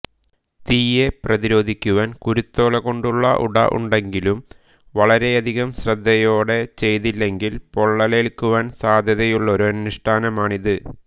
തീയെ പ്രതിരോധിക്കുവാൻ കുരുത്തോലകൊണ്ടുള്ള് ഉട ഉണ്ടെങ്കിലും വളരെയധികം ശ്രദ്ധയോടെ ചെയ്തില്ലെങ്കിൽ പൊള്ളലേൽക്കുവാൻ സാധ്യതയുള്ളൊരനുഷ്ഠാനമാണിത്